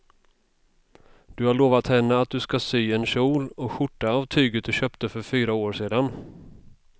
Du har lovat henne att du ska sy en kjol och skjorta av tyget du köpte för fyra år sedan.